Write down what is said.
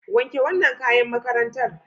Wanke wannan kayan makarntar.